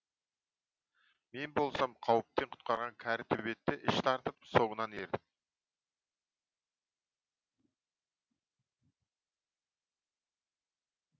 мен болсам қауіптен құтқарған кәрі төбетті іш тартып соңынан ердім